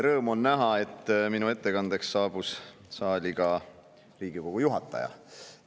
Rõõm on näha, et minu ettekandeks saabus saali ka Riigikogu.